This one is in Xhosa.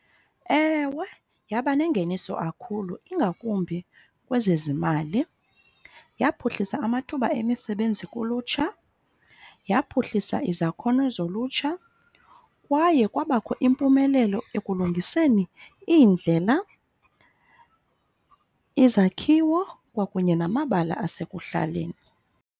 Ewe, yaba nengeniso kakhulu ingakumbi kwezezimali. Yaphuhlisa amathuba emisebenzi kulutsha, yaphuhlisa izakhono zolutsha, kwaye kwabakho impumelelo ekulungiseni iindlela, izakhiwo, kwakunye namabala asekuhlaleni.